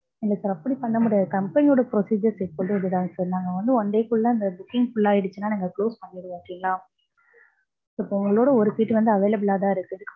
இல்ல sir அப்படி பண்ண முடியாது. company யோட procedures எப்போதும் அப்படித்தான் sir. நாங்க வந்து one day குள்ள அந்த booking full ஆயிடுச்சுன்னா நாங்க close பண்ணிடுவோம். okay ங்களா. so இப்ப உங்களோட ஒரு seat வந்து available ஆ தான் இருக்கு.